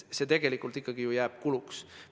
See tegelikult ju ikkagi jääb kuluks.